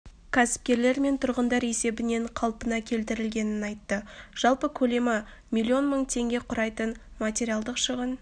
кәсіпкерлер мен тұрғындар есебінен қалпына келтірілгенін айтты жалпы көлемі млн мың теңге құрайтын материалдық шығын